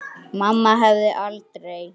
Mamma hefði aldrei.